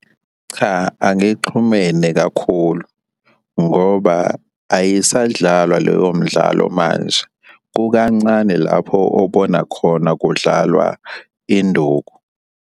Cha, angixhumene kakhulu, ngoba ayisadlalwa leyo mdlalo manje. Kukancane lapho obona khona kudlalwa induku.